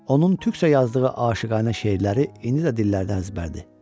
Onun türkcə yazdığı aşiqlərə şeirləri indi də dillərdən əzbərdir.